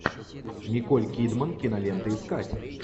николь кидман кинолента искать